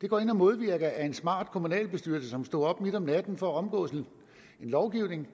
det går ind og modvirker at en smart kommunalbestyrelse som står op midt om natten for at omgå en lovgivning